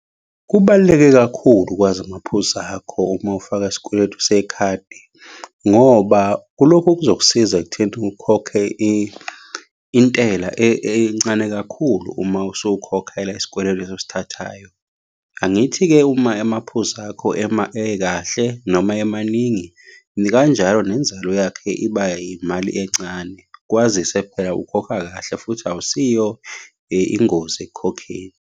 Kubaluleke kakhulu ukwazi amaphuzu akho uma ufaka isikweletu sekhadi, ngoba kulokhu kuzokusiza ekutheni ukhokhe intela encane kakhulu uma usukhokhela isikweletu lesi osithathayo. Angithi-ke uma amaphuzu akho ekahle, noma emaningi, nikanjalo nenzalo yakhe iba imali encane, kwazise phela ukhokha kahle, futhi awusiyo ingozi ekukhokheni.